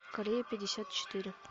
корея пятьдесят четыре